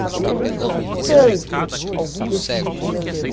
Por que que a gente ouve tanto nesses últimos tempos?